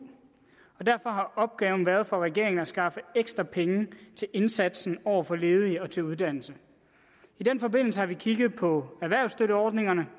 og derfor har opgaven for regeringen været at skaffe ekstra penge til indsatsen over for ledige og til uddannelse i den forbindelse har vi kigget på erhvervsstøtteordningerne